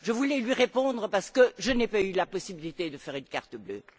Je voulais lui répondre parce que je n'ai pas eu la possibilité de faire un carton bleu.